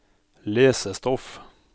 lesestoff